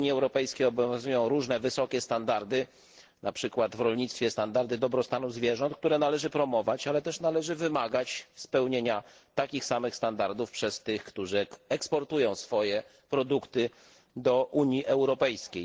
W Unii Europejskiej obowiązują różne wysokie standardy, np. w rolnictwie standardy dobrostanu zwierząt, które należy promować, ale też należy wymagać spełnienia takich samych standardów przez tych, którzy eksportują swoje produkty do Unii Europejskiej.